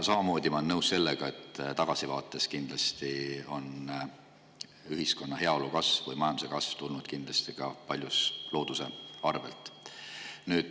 Samamoodi olen ma nõus sellega, et kui tagasi vaadata, on ühiskonna heaolu kasv ja majanduse kasv kindlasti tulnud paljuski looduse arvelt.